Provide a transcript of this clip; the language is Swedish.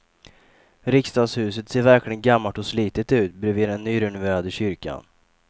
Riksdagshuset ser verkligen gammalt och slitet ut bredvid den nyrenoverade kyrkan.